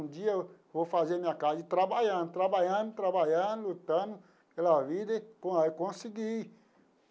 Um dia eu vou fazer minha casa e trabalhando, trabalhando, trabalhando, lutando pela vida e con consegui.